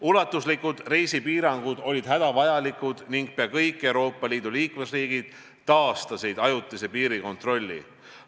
Ulatuslikud reisipiirangud olid hädavajalikud ning peaaegu kõik Euroopa Liidu liikmesriigid taastasid ajutise piirikontrolli.